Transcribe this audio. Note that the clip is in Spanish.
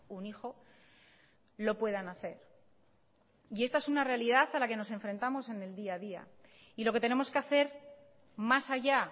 un hijo lo puedan hacer esta es una realidad a la que nos enfrentamos en el día a día y lo que tenemos que hacer más allá